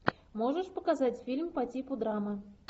можешь показать фильм по типу драмы